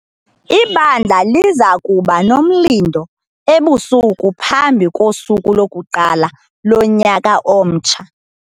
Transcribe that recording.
Ibandla liza kuba nomlindo ebusuku phambi kosuku lokuqala lonyaka omtsha.